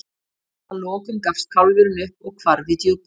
að lokum gafst kálfurinn upp og hvarf í djúpið